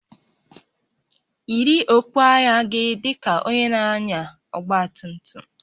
Yiri okpu agha gị dị ka onye na-anya ọgba tum tum!